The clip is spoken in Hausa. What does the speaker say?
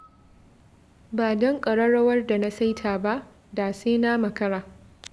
Ba don ƙarrarwar da na saita ba, da sai na makara